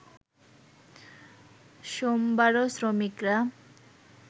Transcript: সোমবারও শ্রমিকরা